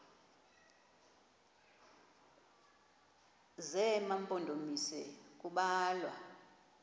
zema mpondomise kubalwa